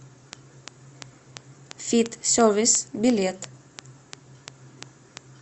фит сервис билет